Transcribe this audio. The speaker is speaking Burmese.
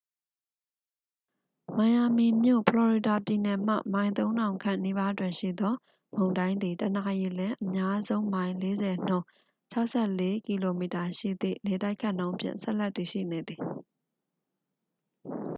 မိုင်ယာမီမြို့၊ ဖလော်ရီဒါပြည်နယ်မှ မိုင် ၃၀၀၀ ခန့်နီးပါးတွင်ရှိသော မုန်တိုင်းသည် တစ်နာရီလျှင် အများဆုံးမိုင် ၄၀ နှုန်း ၆၄ကီလိုမီတာ ရှိသည့် လေတိုက်ခတ်နှုန်းဖြင့် ဆက်လက်တည်ရှိနေသည်။